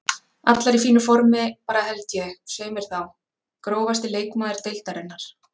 Allar í fínu formi bara held ég, svei mér þá Grófasti leikmaður deildarinnar?